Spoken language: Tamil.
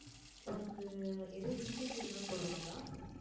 உனக்கு எதுவும் incentive எல்லாம் போடுவாங்களா